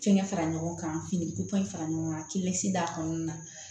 Fɛngɛ fara ɲɔgɔn kan finiko in fara ɲɔgɔn kan k'i bɛsi d'a kɔnɔna na